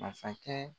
Masakɛ